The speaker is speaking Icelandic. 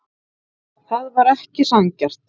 Það væri ekki sanngjarnt.